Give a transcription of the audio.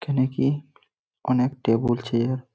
এখানে কি অনেক টেবল চেয়ার --